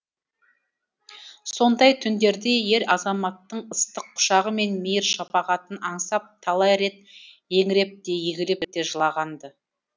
сондай түндерде ер азаматтың ыстық құшағы мен мейір шапағатын аңсап талай рет еңіреп те егіліп те жылаған ды